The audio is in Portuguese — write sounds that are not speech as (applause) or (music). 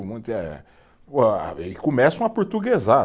(unintelligible) E começam a aportuguesar.